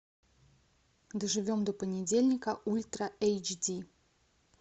доживем до понедельника ультра эйч ди